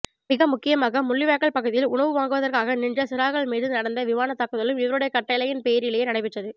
மிகமுக்கியமாக முள்ளிவாய்க்கால் பகுதியில் உணவு வாங்குவதற்காக நின்ற சிறார்கள் மீது நடந்த விமான தாக்குதலும் இவருடைய கட்டையின் பேரிலேயே நடைபெற்றது